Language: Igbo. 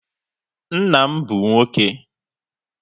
Nna m bụ nwoke